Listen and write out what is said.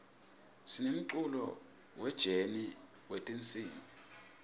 sinemculo we jeni wetinsimb